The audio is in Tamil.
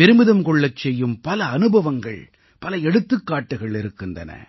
பெருமிதம் கொள்ளச் செய்யும் பல அனுபவங்கள் பல எடுத்துக்காட்டுகள் இருக்கின்றன